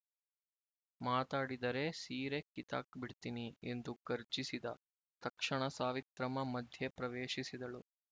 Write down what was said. ಮಾತಾಡಿರೆ ಸೀರೆ ಕಿತ್ತಾಕ್ ಬಿಡ್ತೀನಿ ಎಂದು ಗರ್ಜಿಸಿದ ತಕ್ಷಣ ಸಾವಿತ್ರಮ್ಮ ಮಧ್ಯೆ ಪ್ರವೇಶಿಸಿದಳು